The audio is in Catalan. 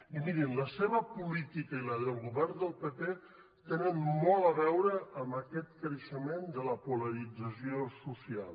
i mirin la seva política i la del govern del pp tenen molt a veure amb aquest creixement de la polarització social